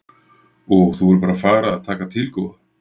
Og þú verður bara að fara að taka til góða.